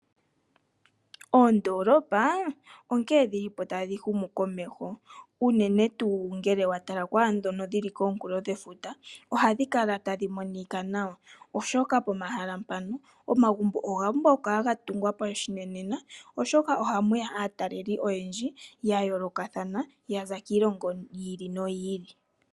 Oondolopaa onkee dhilipo tadhihumu komeho, unene tuu ngele watala kwaadhono dhili komunkulo gwefuta. Ohadhikala tadhimonika nawa, oshoka pomahala mpano omagumbo ogapumbwa gatungwa pashinanena. Oshoka ohamuya aataleli oyendji yayoolokathana yaza kiilongo yiili noyiili.